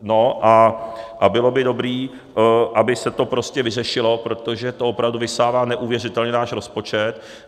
No a bylo by dobré, aby se to prostě vyřešilo, protože to opravdu vysává neuvěřitelně náš rozpočet.